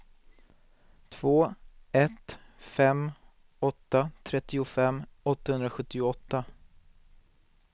två ett fem åtta trettiofem åttahundrasjuttioåtta